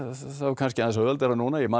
það var kannski aðeins auðveldara núna ég man